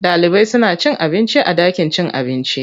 Ɗalibai suna cin abinci a ɗakin cin abinci.